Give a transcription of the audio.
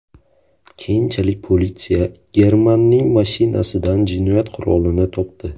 Keyinchalik politsiya Germanning mashinasidan jinoyat qurolini topdi.